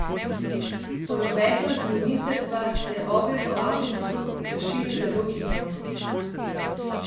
Po navedbah ministrstva se je ogenj po avtobusu razširil zelo hitro.